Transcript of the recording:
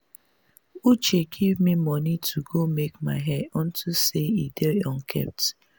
uche give me money to go make my hair unto say e dey unkempt